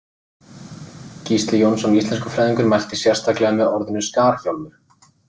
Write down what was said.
Gísli Jónsson, íslenskufræðingur, mælti sérstaklega með orðinu skarhjálmur.